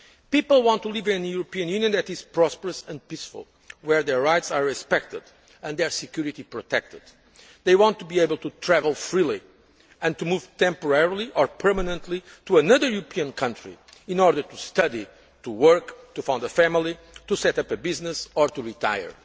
People want to live in a European Union that is prosperous and peaceful, where their rights are respected and their security protected. They want to be able to travel freely and to move temporarily or permanently to another European country in order to study, to work, to found a family, to set up a business or to